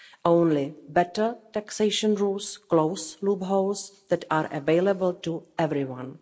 Only better taxation rules will close loopholes that are available to everyone.